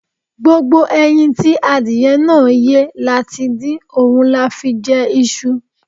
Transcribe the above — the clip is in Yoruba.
Gbogbo ẹyin tí adìyẹ náà yé la ti dín, òun la fi jẹ iṣu.